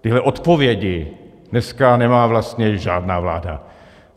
tyhle odpovědi dneska nemá vlastně žádná vláda.